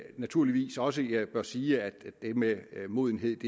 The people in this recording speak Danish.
naturligvis også jeg bør sige at det med modenhed